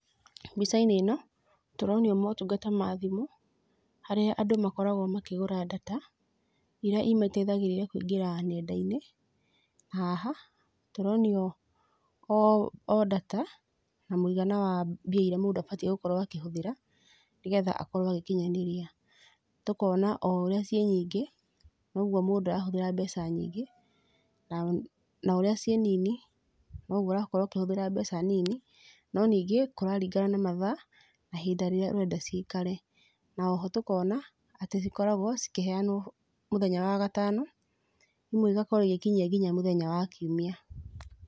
Mbica-inĩ ĩno, tũronio motungata ma thimũ, harĩa andũ makoragwo makĩgũra data, irĩa imateithagĩrĩria kũingĩra nenda-inĩ. Na haha, tũronio o o data, na mũigana wa mbia irĩa mũndũ abatiĩ gũkorwo akĩhũthĩra, nĩgetha akorwo agĩkinyanĩria. Tũkona o ũrĩa ciĩ nyingĩ, noguo mũndũ arahũthĩra mbeca nyingĩ, na na ũrĩa ciĩ nini, noguo ũrakorwo ũkĩhũthĩra mbeca nini. No ningĩ, kũraringana na mathaa, na ihinda rĩrĩa ũrenda ciikare. Na oho tũkona, atĩ cikoragwo cikĩheanwo mũthenya wa gatano, nĩguo igakorwo igĩkinyia mũthenya wa kiumia.